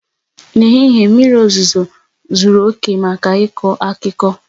N'ehihie mmiri ozuzo zuru oke maka ịkọ akụkọ.